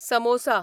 samosa